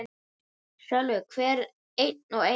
Sölvi: Hvern einn og einasta?